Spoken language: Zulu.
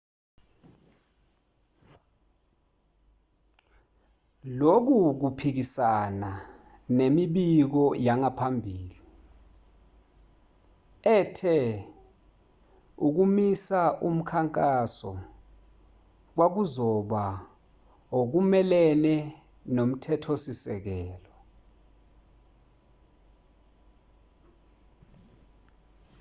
lokhu kuphikisana nemibiko yangaphambili ethe ukumisa umkhankaso kwakuzoba okumelene nomthetho-sisekelo